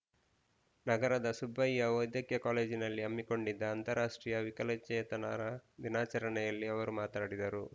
ನಗರದ ಸುಬ್ಬಯ್ಯ ವೈದ್ಯಕೀಯ ಕಾಲೇಜಿನಲ್ಲಿ ಹಮ್ಮಿಕೊಂಡಿದ್ದ ಅಂತಾರಾಷ್ಟ್ರೀಯ ವಿಕಲಚೇತನರ ದಿನಾಚರಣೆಯಲ್ಲಿ ಅವರು ಮಾತನಾಡಿದರು